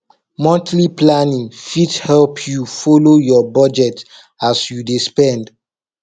monthly planning fit help yu folo yur bujet as yu dey spend